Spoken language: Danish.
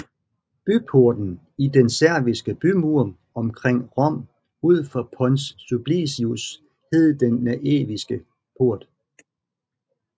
Byporten i den serviske bymur omkring Rom ud for Pons Sublicius hed Den Naeviske Port